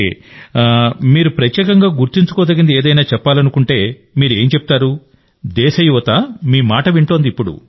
సరే మీరు ప్రత్యేకంగా గుర్తుంచుకోదగింది ఏదైనా చెప్పాలనుకుంటే మీరు ఏం చెప్తారు దేశ యువత మీ మాట వింటోంది